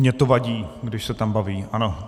Mně to vadí, když se tam baví, ano.